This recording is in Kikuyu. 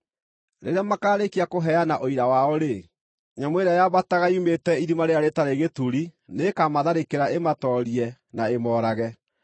Rĩrĩa makaarĩkia kũheana ũira wao-rĩ, nyamũ ĩrĩa yambataga yumĩte Irima-rĩrĩa-Rĩtarĩ-Gĩturi nĩĩkamatharĩkĩra ĩmatoorie, na ĩmoorage.